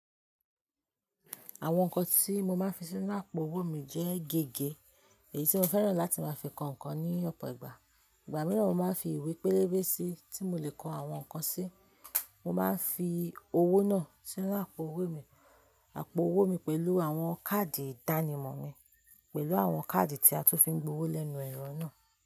Àwọn nǹkan tí mo máa ń fi sínú àpò-owó mi jẹ́ gege èyí tí mo fẹ́ràn láti máa fi kọ nǹkan ní ọ̀pọ̀ ìgbà. Ìgbà mìíràn mo máa ń fi ìwé pélébé sí tí mo lè kọ àwọn nǹkan sí. Mo máa ń fi owó náà sínú àpò-owó mi pẹ̀lú àwọn káàdì ìdánimọ̀ mi, pẹ̀lú àwọn káàdì tí a tún fi ń gbowó lẹ́nu ẹ̀rọ náà.